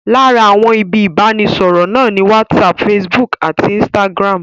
Lára àwọn ibi ìbánisọ̀rọ̀ náà ni Whatsapp, Facebook àti Instagram